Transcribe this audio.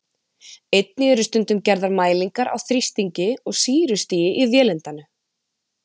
Einnig eru stundum gerðar mælingar á þrýstingi og sýrustigi í vélindanu.